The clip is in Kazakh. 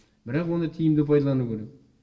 бірақ оны тиімді пайдалану керек